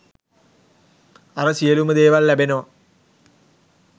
අර සියලුම දේවල් ලැබෙනවා